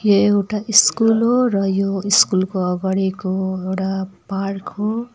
यो एउटा ईस्कुल हो र यो ईस्कुल को अघाडीको एउडा पार्क हो।